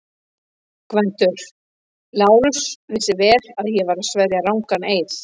GVENDUR: Lárus vissi vel að ég var að sverja rangan eið.